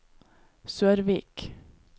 Sørvik